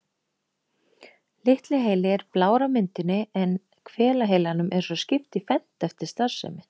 Litli heili er blár á myndinni en hvelaheilanum er svo skipt í fernt eftir starfsemi.